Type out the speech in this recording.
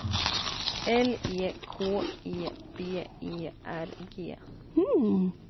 L E K E B E R G